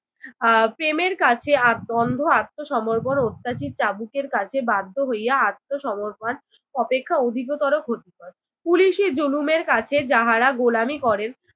আহ প্রেমের কাছে আত্ম আহ অন্ধ আত্মসমর্পণ অত্যাচিত চাবুকের কাছে বাধ্য হইয়া আত্মসমর্পণ অপেক্ষা অধিকতর ক্ষতিকর। পুলিশি জুলুমের কাছে যাহারা গোলামি করেন